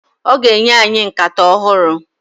Ọ ga-enye anyị nkata ọhụrụ.